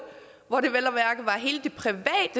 hvor det vel